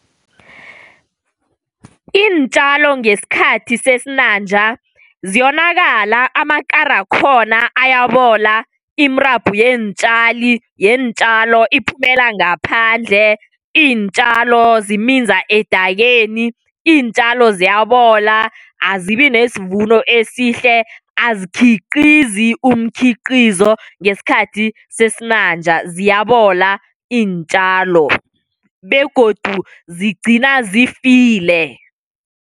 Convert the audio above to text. Iintjalo ngesikhathi sesinanja ziyonakala, amakarakhona ayabola, imirabhu yeentjalo iphumela ngaphandle, iintjalo ziminza edakeni, iintjalo ziyabola azibi nesivumo esihle azikhiqizi umkhiqizo ngesikhathi sesinanja ziyabola iintjalo begodu zigcina zifile.